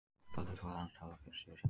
Markahlutfall hans talar fyrir sig sjálft.